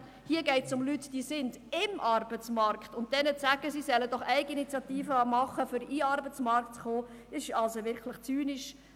Hier geht es um Leute, die im Arbeitsmarkt sind, und diesen zu sagen, sie sollen doch Eigeninitiative entwickeln, um in den Arbeitsmarkt zu kommen, ist wirklich zynisch.